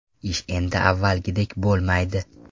Ish endi avvalgidek bo‘lmaydi.